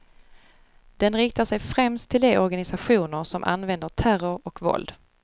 Den riktar sig främst till de organisationer som använder terror och våld.